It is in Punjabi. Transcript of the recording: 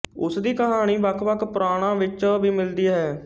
ਉਸਦੀ ਕਹਾਣੀ ਵੱਖ ਵੱਖ ਪੁਰਾਣਾਂ ਵਿੱਚ ਵੀ ਮਿਲਦੀ ਹੈ